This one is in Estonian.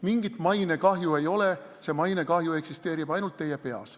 Mingit mainekahju ei ole, see mainekahju eksisteerib ainult teie peas.